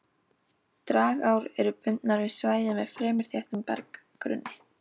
Dragár eru bundnar við svæði með fremur þéttum berggrunni.